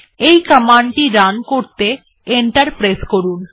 এই কমান্ডটি রান করতে এন্টার প্রেস করুন